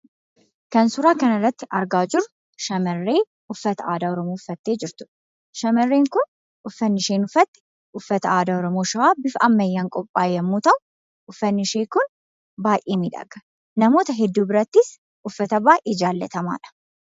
Kan suuraa kanarratti argaa jirru shamarree uffata aadaa Oromoo uffattee jirtudha. Shamarreen kun uffanni isheen uffatte, uffata aadaa Oromoo shawaa bifa ammayyaan qophaa'e yemmuu ta'u, uffannishee kun baayyee miidhaga. Namoota birattis baayyee jaallatamaadha.